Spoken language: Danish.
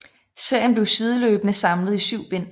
Serien blev sideløbende samlet i syv bind